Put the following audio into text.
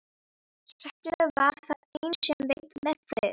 Svefninn var það eina sem veitti mér frið.